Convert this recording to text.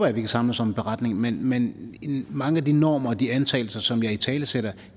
at vi kan samles om en beretning men men mange af de normer og de antagelser som jeg italesætter